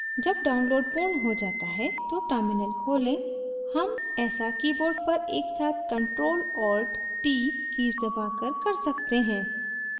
जब download पूर्ण हो जाता है तो terminal खोलें हम ऐसा keyboard पर एकसाथ ctrl alt t कीज़ दबाकर कर सकते हैं